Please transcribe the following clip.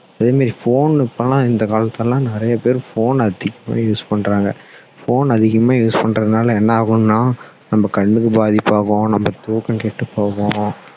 அதே மாதிரி phone இப்போலாம் இந்த காலத்துல எல்லாம் நிறைய பேர் phone addict நிறைய use பண்ணுறாங்க phone அதிகமா use பண்ணுறதுனால என்ன ஆகும்னா நம்ம கண்ணுக்கு பாதிப்பு ஆகும் நம்ம தூக்கம் கெட்டு போகும்